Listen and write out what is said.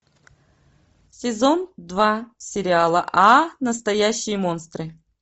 сезон два сериала а настоящие монстры